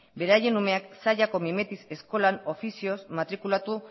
beraien umeak zallako mimetiz eskolan ofizioz matrikulatu